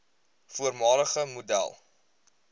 voormalige model